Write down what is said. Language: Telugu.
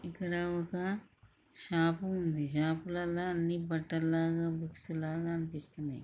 ఇక్కడ ఒక షాప్ వుంది షాప్ లలో అన్నీ బట్టల్లగా ఉంది బుక్స్ ల్లు గా--